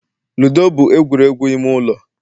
ludo bụ egwuregwu ime ụlọ